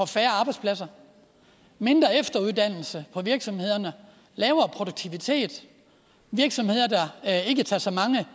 færre arbejdspladser mindre efteruddannelse på virksomhederne lavere produktivitet virksomheder der ikke tager så mange